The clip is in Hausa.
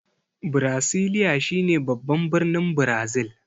Brasilia shine babban birnin Brazil.